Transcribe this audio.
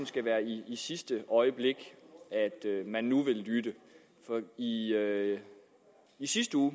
skal være i sidste øjeblik at man nu vil lytte for i sidste uge